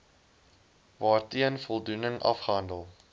waarteen voldoening afgehandel